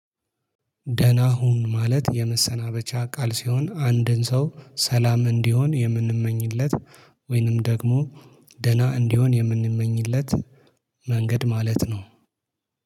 ደህና ሁን ማለት የመሰናበቻ ቃል ሲሆን አንድን ሰው ሰላም እንዲሆን የምንመኝለት ወይንም ደግሞ ደህና እንዲሆን የምንመኝለት መንገድ ማለት ነው